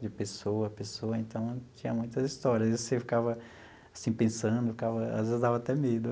de pessoa a pessoa, então, tinha muitas histórias e você ficava, assim, pensando, ficava, às vezes, dava até medo.